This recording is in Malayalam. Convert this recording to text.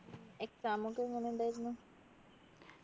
exam ഒക്കെ എങ്ങനെ ഉണ്ടായിരുന്നു